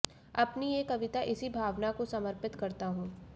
अपनी ये कविता इसी भावना को समर्पित करता हूं